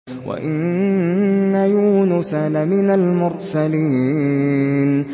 وَإِنَّ يُونُسَ لَمِنَ الْمُرْسَلِينَ